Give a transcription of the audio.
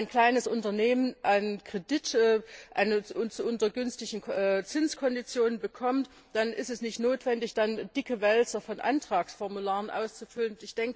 Wenn ein kleines Unternehmen einen Kredit unter günstigen Zinskonditionen bekommt, ist es nicht notwendig, dicke Wälzer von Antragsformularen auszufüllen.